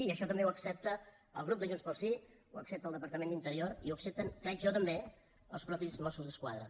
i això també ho accepta el grup de junts pel sí ho accepta el departament d’interior i ho accepten crec jo també els mateixos mossos d’esquadra